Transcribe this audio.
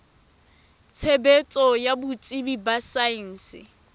tshebetso ya botsebi ba saense